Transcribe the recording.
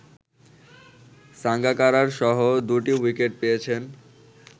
সাঙ্গাকারারসহ দুটি উইকেট পেয়েছেন